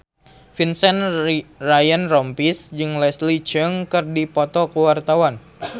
Vincent Ryan Rompies jeung Leslie Cheung keur dipoto ku wartawan